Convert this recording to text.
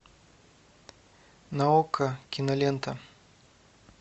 на окко кинолента